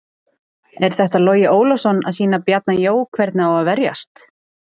Er þetta Logi Ólafsson að sýna Bjarna Jó hvernig á að verjast?